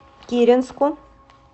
киренску